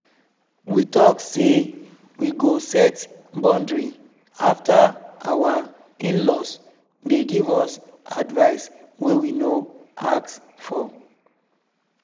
we talk say we go set boundary after our in-laws dey give us advice wey we no ask for